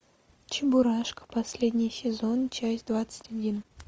чебурашка последний сезон часть двадцать один